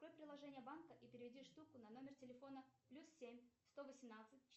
открой приложение банка и переведи штуку на номер телефона плюс семь сто восемнадцать